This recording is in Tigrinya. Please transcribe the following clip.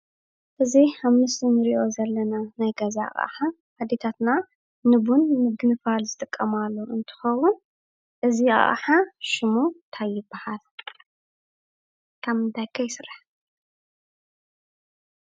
እዚ ኣብ ምስሊ እንርእዮ ዘለና ናይ ገዛ ኣቅሓ ኣዴታትና ንቡን ንምግባር ዝጥቀማሉ እንትከውን እዚ ኣቅሓ ሽሙ እንታይ ይባሃል ካብ ምንታይ ከ ይስራሕ?